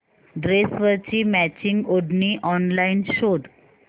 ड्रेसवरची मॅचिंग ओढणी ऑनलाइन शोध